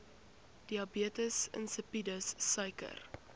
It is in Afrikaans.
diabetes insipidus suiker